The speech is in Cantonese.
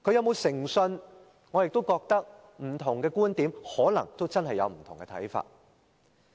候選人有否誠信，不同的人可能真的有不同看法。